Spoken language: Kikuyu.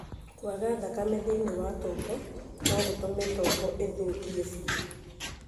Kwaga thakame thĩinĩ wa tombo no gũtũme tombo ĩthũkie biũ.